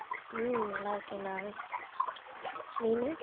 உம் நல்லா இருக்கேன்டா நீனு?